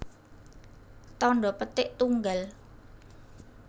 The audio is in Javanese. Tandha petik tunggal